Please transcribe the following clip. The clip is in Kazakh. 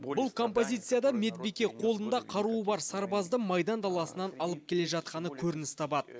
бұл композицияда медбике қолында қаруы бар сарбазды майдан даласынан алып келе жатқаны көрініс табады